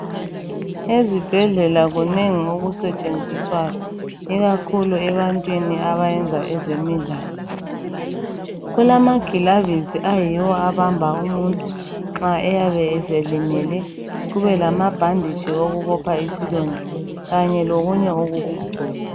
Ezibhedlela kunengi okusetshenziswayo ikakhulu ebantwini abayenza ezemidlalo. Kulamagilavisi ayiwo abamba umuntu nxa eyabe eselimele kube lamabhanditshi okubopha isilonda kanye lokunye okokugcoba.